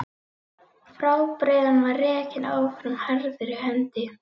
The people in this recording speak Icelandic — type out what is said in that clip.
Fjárbreiðan var rekin áfram harðri hendi.